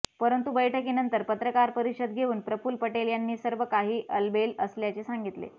पंरतु बैठकीनंतर पत्रकार परिषद घेऊन प्रफुल पटेल यांनी सर्व काही अलबेल असल्याचे सांगितले